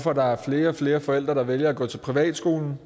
at der er flere og flere forældre der vælger at gå til privatskolerne